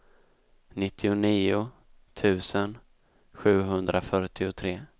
nittionio tusen sjuhundrafyrtiotre